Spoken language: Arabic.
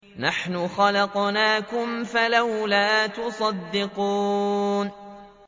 نَحْنُ خَلَقْنَاكُمْ فَلَوْلَا تُصَدِّقُونَ